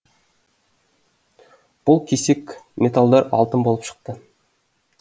бұл кесек металдар алтын болып шықты